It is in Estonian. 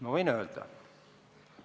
Ma võin öelda.